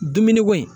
Dumuni ko in